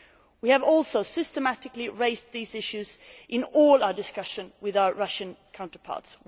We have also systematically raised these issues in all our discussion with our Russian counterparts.